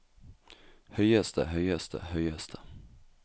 høyeste høyeste høyeste